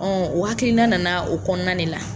o hakilina nana o kɔnɔna de la.